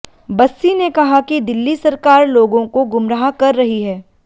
बस्सी ने कहा कि दिल्ली सरकार लोगों को गुमराह कर रही है